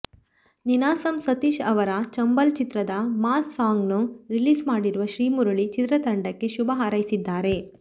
ನೀನಾಸಂ ಸತೀಶ್ ಅವರ ಚಂಬಲ್ ಚಿತ್ರದ ಮಾಸ್ ಸಾಂಗ್ನ್ನು ರಿಲೀಸ್ ಮಾಡಿರುವ ಶ್ರೀಮುರಳಿ ಚಿತ್ರತಂಡಕ್ಕೆ ಶುಭ ಹಾರೈಸಿದ್ದಾರೆ